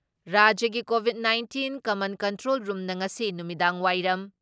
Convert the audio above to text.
ꯔꯥꯖ꯭ꯌꯒꯤ covid nineteen command control ꯔꯨꯝꯅ ꯉꯁꯤ ꯅꯨꯃꯤꯗꯥꯡꯋꯥꯏꯔꯝ